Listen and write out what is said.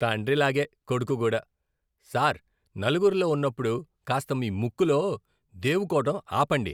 తండ్రిలాగే, కొడుకు కూడా. సార్, నలుగురిలో ఉన్నప్పుడు కాస్త మీ ముక్కులో దేవుకోవడం ఆపండి.